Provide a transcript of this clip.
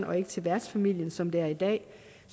og ikke til værtsfamilien som det er i dag